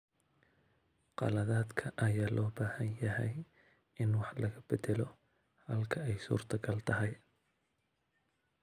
Qaladaadka ayaa loo baahan yahay in wax laga beddelo halka ay suurtagal tahay.